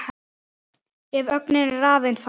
Ef ögnin er rafeind fæst